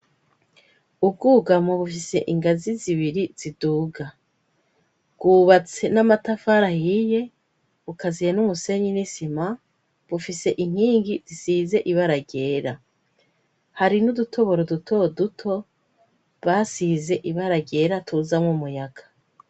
Ubwugamo bufise ingazi zibiri ziduga bwubatse n'amatafara ahiye bukaziya n'umusenyi n'isima bufise inkingi zisize ibara ryyera hari n'udutoboro duto duto basize ibara ryera tuzamwo umuyaga.